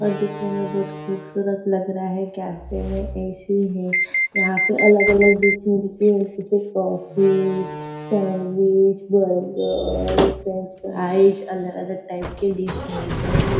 और दिखने में बहुत खुबसूरत लग रहा है कैफ़े में ऐ.सी. है यहाँ पे अलग अलग दिख रहे जैसे कॉफ़ी सैंडविच बर्गर फ्रेंचफ्राइज अलग अलग टाइप के डिश मिलते है।